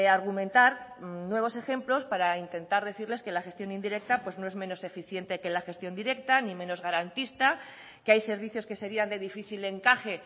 argumentar nuevos ejemplos para intentar decirles que la gestión indirecta pues no es menos eficiente que la gestión directa ni menos garantista que hay servicios que serían de difícil encaje